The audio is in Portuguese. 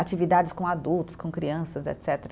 Atividades com adultos, com crianças, etcetera